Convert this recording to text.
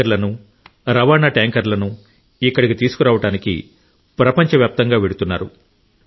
ట్యాంకర్లను రవాణా ట్యాంకర్లను ఇక్కడకు తీసుకురావడానికి ప్రపంచవ్యాప్తంగా వెళుతున్నారు